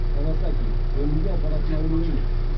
кавасаки өлімге апаратын ауру емес